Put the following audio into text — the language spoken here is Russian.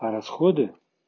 а расходы